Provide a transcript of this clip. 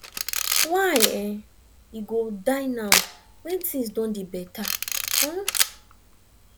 why e go die now when things don dey better um